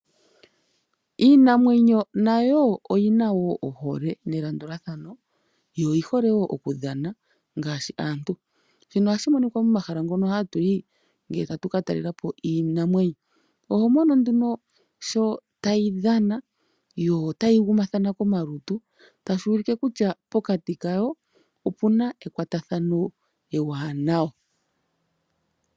Iinamwenyo nayo oyina woo ohole nelandulathano yo oyi hole okudhana ngaashi aantu. Shino ohashi monika momahala ngono hatuyi ngele tatuka talelapo iinamwenyo. Oho mono nduno sho tayi dhana yo tayi gumathana komalutu tashi ulike kutya pokati kayo opuna kwatathano ewanawa.